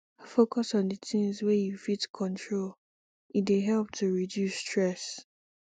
focus on di things wey you fit control e dey help to reduce stress